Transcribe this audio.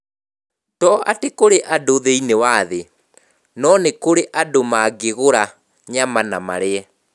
To atĩ kũrĩ na andũ thĩinĩ wa thĩ - no nĩ kũrĩ na andũ mangĩgũra nyama na marĩe.